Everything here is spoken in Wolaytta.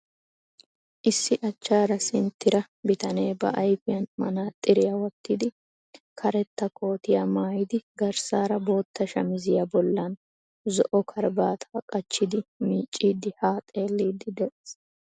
Issi achchaara sinttira bitanee ba ayfiyan manaxiriya wottidi karetta kootiyaa maayidi garssaara bootta shamiziya bollan zo"o karabaataa qachchidi miicciiddi haa xeelliiddi de'ees.